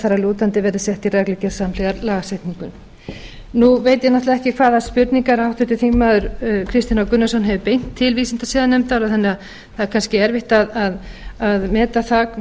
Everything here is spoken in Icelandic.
að lútandi verði sett í reglugerð samhliða lagasetningunni nú veit ég náttúrlega ekki hvaða spurningum háttvirts þingmanns kristinn h gunnarsson hefur beint til vísindasiðanefndar þannig að það er kannski erfitt að meta það